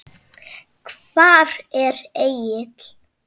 Hvar er Egill?